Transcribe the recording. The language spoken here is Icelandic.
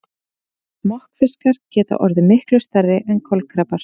Smokkfiskar geta orðið miklu stærri en kolkrabbar.